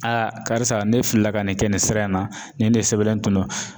karisa ne filila ka nin kɛ nin sira in na ni ne sɛbɛnlen tun don.